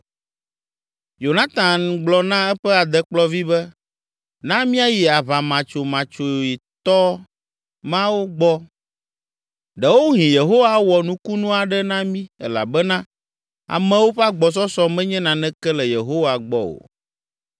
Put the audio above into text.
Yonatan gblɔ na eƒe adekplɔvi be, “Na míayi aʋamatsomatsoetɔ mawo gbɔ, ɖewohĩ Yehowa awɔ nukunu aɖe na mí elabena amewo ƒe agbɔsɔsɔ menye naneke le Yehowa gbɔ o!”